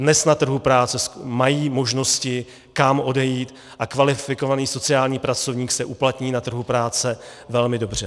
Dnes na trhu práce mají možnosti, kam odejít, a kvalifikovaný sociální pracovník se uplatní na trhu práce velmi dobře.